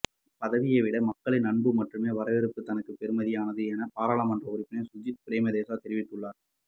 பதவியை விட மக்களின் அன்பு மற்றும் வரவேற்பே தனக்கு பெறுமதியானது என பாராளுமன்ற உறுப்பினர் சஜித் பிரேமதாச தெரிவித்துள்ளார்